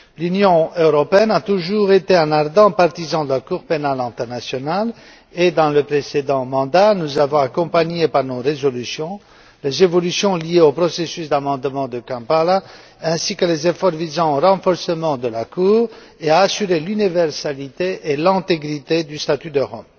L'Union européenne a toujours été un ardent partisan de la Cour pénale internationale et dans le précédent mandat, nous avons accompagné, par nos résolutions, les évolutions liées au processus d'amendement de Kampala, ainsi que les efforts visant au renforcement de la Cour et à assurer l'universalité et l'intégrité du statut de Rome.